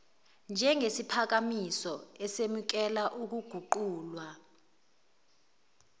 njengesiphakamiso esemukela ukuguqulwa